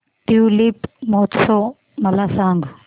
tulip महोत्सव मला सांग